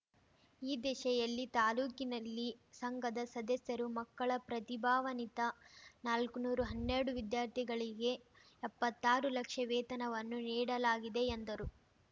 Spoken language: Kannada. ಈ ದಿಸೆಯಲ್ಲಿ ತಾಲೂಕಿನಲ್ಲಿ ಸಂಘದ ಸದಸ್ಯರು ಮಕ್ಕಳ ಪ್ರತಿಭಾನ್ವಿತ ನಾಲ್ಕು ನೂರು ಹನ್ನೆರಡು ವಿದ್ಯಾರ್ಥಿಗಳಿಗೆ ಎಪ್ಪತ್ತಾರು ಲಕ್ಷ ವೇತನವನ್ನು ನೀಡಲಾಗಿದೆ ಎಂದರು